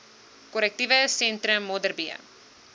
korrektiewe sentrum modderbee